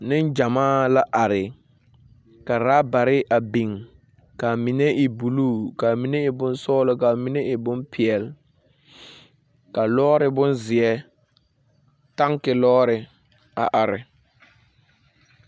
Neŋgyamaa laare, ka rabare a biŋ kaa mine e buluu kaa mine e bonsɔɔlɔ kaa mine e bompeɛl. ka lɔɔre bonzeɛ, tanke lɔɔre, a are.